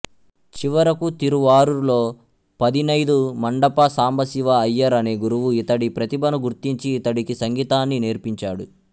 చివరకు తిరువారూరులో పదినైదుమండప సాంబశివ అయ్యర్ అనే గురువు ఇతడి ప్రతిభను గుర్తించి ఇతడికి సంగీతాన్ని నేర్పించాడు